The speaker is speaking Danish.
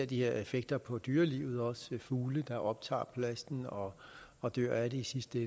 de her effekter på dyrelivet som fugle der optager plasten og og dør af det i sidste